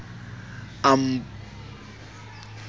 a nbotsa ho re na